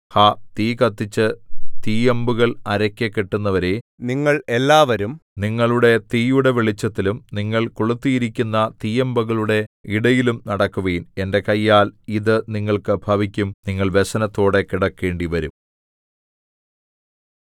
ഹാ തീ കത്തിച്ചു തീയമ്പുകൾ അരയ്ക്ക് കെട്ടുന്നവരേ നിങ്ങൾ എല്ലാവരും നിങ്ങളുടെ തീയുടെ വെളിച്ചത്തിലും നിങ്ങൾ കൊളുത്തിയിരിക്കുന്ന തീയമ്പുകളുടെ ഇടയിലും നടക്കുവിൻ എന്റെ കയ്യാൽ ഇതു നിങ്ങൾക്ക് ഭവിക്കും നിങ്ങൾ വ്യസനത്തോടെ കിടക്കേണ്ടിവരും